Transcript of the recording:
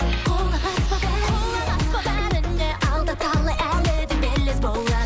құлақ аспа бәріне міне алда талай әлі де белес болар